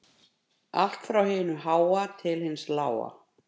Allt frá hinu háa til hins lága